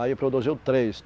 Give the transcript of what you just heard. Aí produziu três.